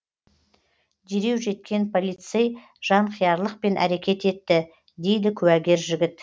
дереу жеткен полицей жанқиярлықпен әрекет етті дейді куәгер жігіт